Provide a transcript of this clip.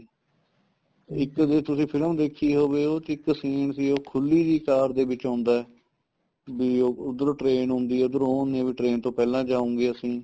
ਇੱਕ ਜੇ ਤੁਸੀਂ film ਦੇਖੀ ਹੋਵੇ ਉਸ ਚ ਇੱਕ scene ਸੀ ਉਹ ਖੁੱਲੀ ਜੀ car ਦੇ ਵਿੱਚ ਆਉਂਦਾ ਤੇ ਉੱਧਰੋ train ਆਉਂਦੀ ਏ ਉੱਧਰੋ ਉਹ ਆਉਨੇ ਏ ਬੀ train ਤੋਂ ਪਹਿਲਾਂ ਜਾਉਗੇ ਅਸੀਂ